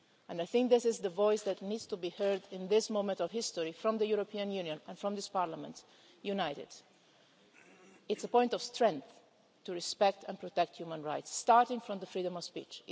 I think this is the voice that needs to be heard at this point in history from the European Union and from this Parliament, united. It's a point of strength to respect and protect human rights, starting with freedom of speech.